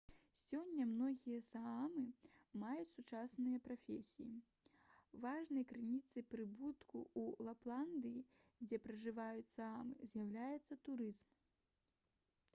сёння многія саамы маюць сучасныя прафесіі важнай крыніцай прыбытку ў лапландыі дзе пражываюць саамы з'яўляецца турызм